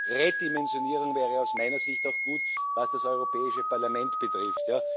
Eine Redimensionierung wäre aus meiner Sicht auch gut, was das Europäische Parlament betrifft.